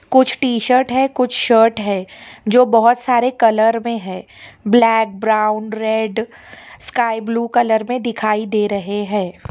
कुछ शर्ट है कुछ शर्ट है जो बहुत सारे कलर में है black brown red sky blue colour में दिखाई दे रहे हैं।